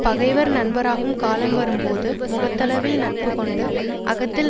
பகைவர் நண்பராகும் காலம் வரும் போது முகத்தளவில் நட்பு கொண்டு அகத்தில்